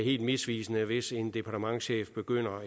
helt misvisende hvis eksempelvis en departementschef begynder